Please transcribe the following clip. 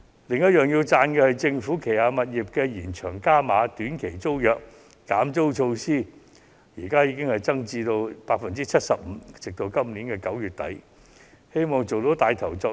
此外，我要稱讚政府為旗下的短期租賃物業減租，寬減額更增至 75%， 直至今年9月底為止。